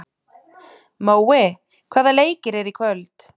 Mói, hvaða leikir eru í kvöld?